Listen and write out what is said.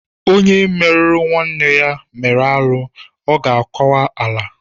Onye meruru nwanne ya mere arụ ya mere ọ ga-akwa ala.